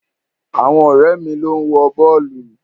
Àwọn ọ̀rẹ́ mi ló ń wo bọ́ọ̀lù.